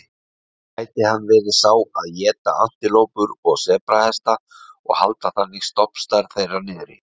Gæti hann verið sá að éta antilópur og sebrahesta og halda þannig stofnstærð þeirra niðri?